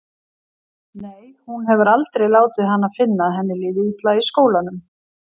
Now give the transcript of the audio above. Nei, hún hefur aldrei látið hana finna að henni líði illa í skólanum.